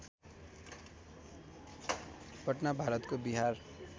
पटना भारतको बिहार